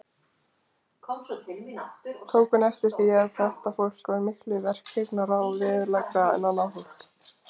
Tók hún eftir því, að þetta fólk var miklu verkhyggnara og veðurgleggra en annað fólk.